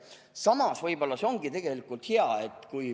Samas võib-olla see ongi tegelikult hea.